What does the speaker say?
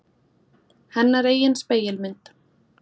Hennar eigin spegilmynd.